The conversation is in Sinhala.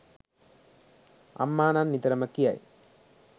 අම්මා නම් නිතරම කියයි.